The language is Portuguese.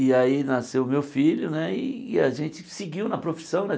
E aí nasceu o meu filho né, e a gente seguiu na profissão né.